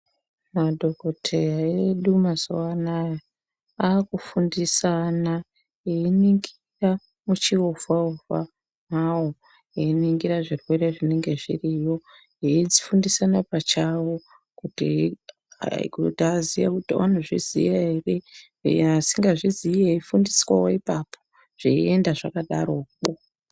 Madhokoteya edu mazuwa anaya, akufundisana einingira muchiovha ovha mavo einingira zvirwere zvinenge zviriyo veifundisana pachavo kuti aziye kuti anozviziya ere uyo asingazvizii eifundiswa ipapo zveienda zvakadaro imwomwo.